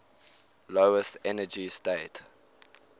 lowest energy state